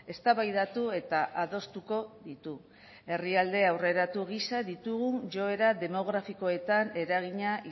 eztabaidatu eta adostuko ditu herrialde aurreratu gisa ditugun joera demografikoetan eragina